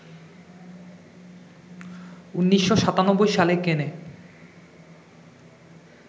১৯৯৭ সালে কেনে